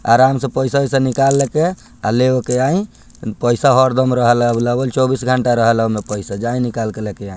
आराम से पइसा-ओइसा निकाल के आ ले उ के आई पइसा हरदम रहेला अवेलेबल चौबीस घंटा रहेला ओमे पइसा जाई निकाल के लेके आ --